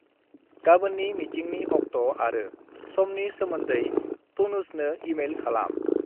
गाबोननि मिटिंनि अक्ट आरो समनि सोमोन्दै टनुजनो इमेइल खालाम।